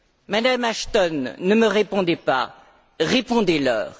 Madame Ashton, ne me répondez pas, répondez leur.